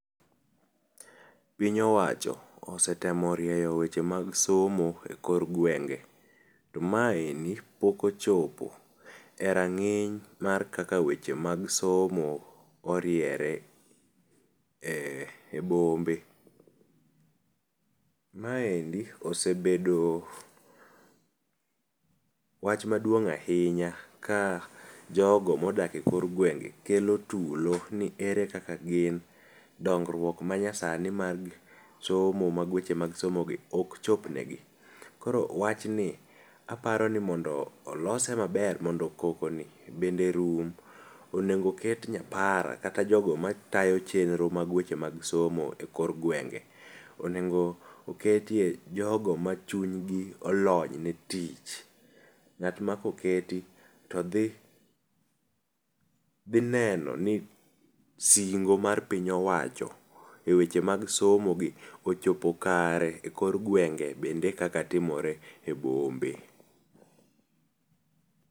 Piny owacho osetemo rieyo weche mag somo e kor gwenge to maeni pok ochopo e rang'iny mag kaka weche mag somo oriere e bombe. Maendi osebedo wach maduong' ahinya ka jogo modak e kor gwenge kelo tulo ni ere kaka gin dongruok ma nyasani mag somo mag weche mag somo gi ok chopne gi . Koro wachni mondo olose maber mondo koko ni bende rum , onego ket nyapara kata jogo matayo weche mag somo e kor gwenge. Onego oketie Jogo ma chunygi olony ne tich. Ng'at ma koketi todhi dhi neno ni singo mag piny owacho eweche mag somo gi ochopo kare e kor gwenge bende kaka timore e bombe.